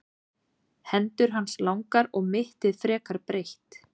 Hendur hans langar og mittið frekar breitt.